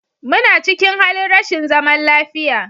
Muna cikin halin rashin zaman lafiya